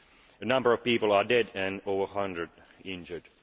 A number of people are dead and over a hundred injured.